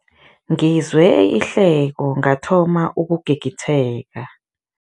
Ngizwe ihleko ngathoma ukugigitheka.